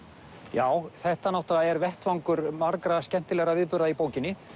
já þetta er vettvangur margra skemmtilegra viðburða í bókinni